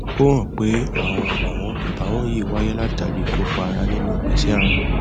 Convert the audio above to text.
ó hàn pé àọn àbàwọn àbàwọn yìí wáyé látàrí i ìkópa ara nínú ìgbésẹ ààrùn